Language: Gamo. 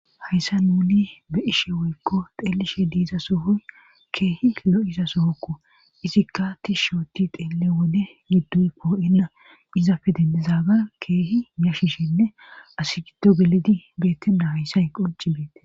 Hayssa nuni be ishe woykko xeellishe diiza sohoy keehi lo,iza sohokko izikka ti shooti xeelle wode gidduy poo,inna izafe dendizaga keehi miyashishinne asi giddo gelidi beettenna hayssay qonci beette.